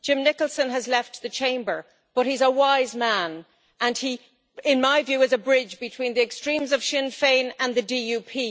Jim Nicholson has left the Chamber, but he's a wise man and he, in my view, is a bridge between the extremes of Sinn Fein and the DUP.